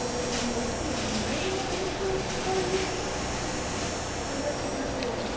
E, assim, aí no momento, fora isso, em primeiro lugar, Deus.